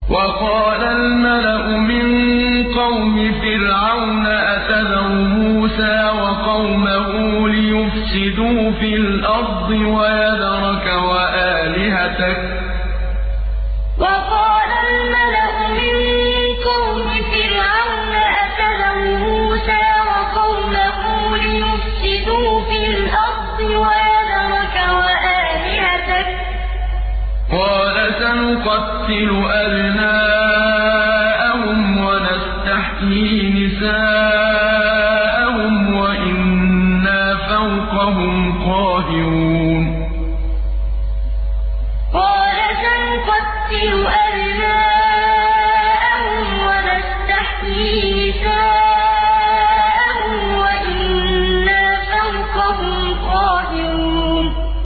وَقَالَ الْمَلَأُ مِن قَوْمِ فِرْعَوْنَ أَتَذَرُ مُوسَىٰ وَقَوْمَهُ لِيُفْسِدُوا فِي الْأَرْضِ وَيَذَرَكَ وَآلِهَتَكَ ۚ قَالَ سَنُقَتِّلُ أَبْنَاءَهُمْ وَنَسْتَحْيِي نِسَاءَهُمْ وَإِنَّا فَوْقَهُمْ قَاهِرُونَ وَقَالَ الْمَلَأُ مِن قَوْمِ فِرْعَوْنَ أَتَذَرُ مُوسَىٰ وَقَوْمَهُ لِيُفْسِدُوا فِي الْأَرْضِ وَيَذَرَكَ وَآلِهَتَكَ ۚ قَالَ سَنُقَتِّلُ أَبْنَاءَهُمْ وَنَسْتَحْيِي نِسَاءَهُمْ وَإِنَّا فَوْقَهُمْ قَاهِرُونَ